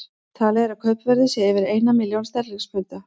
Talið er að kaupverðið sé yfir ein milljón sterlingspunda.